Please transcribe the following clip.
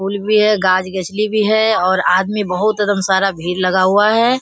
फूल भी है गाछ गछली भी है और आदमी बहुत एकदम सारा भीड़ लगा हुआ है।